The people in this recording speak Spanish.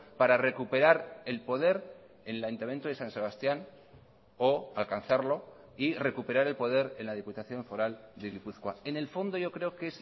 para recuperar el poder en el ayuntamiento de san sebastián o alcanzarlo y recuperar el poder en la diputación foral de gipuzkoa en el fondo yo creo que